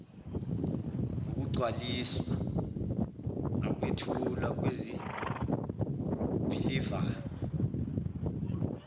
ngokugcwaliswa nokwethulwa kwezibhilivana